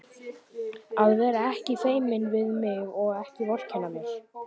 Að vera ekki feiminn við mig og ekki vorkenna mér!